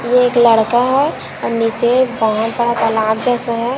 ये एक लड़का है हम इसे जैसे है--